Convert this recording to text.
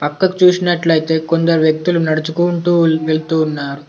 పక్కకు చూసినట్లైతే కొందరు వ్యక్తులు నడుచుకుంటూ వెళ్తూ ఉన్నారు.